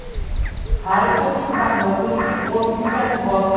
Har kimning tahlil qilish uchun o‘z miyasi bor.